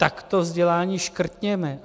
Tak to vzdělání škrtněme!